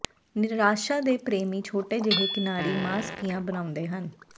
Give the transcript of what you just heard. ਨਿਰਾਸ਼ਾ ਦੇ ਪ੍ਰੇਮੀ ਛੋਟੇ ਜਿਹੇ ਕਿਨਾਰੀ ਮਾਸਪੀਆਂ ਬਣਾਉਂਦੇ ਹਨ